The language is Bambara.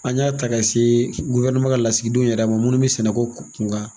An y'a ta ka se ka lasigidenw yɛrɛ ma minnu bɛ sɛnɛ ko kunkan.